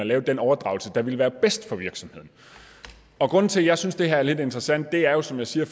lave den overdragelse der ville være bedst for virksomheden grunden til at jeg synes at det her er lidt interessant er jo som jeg siger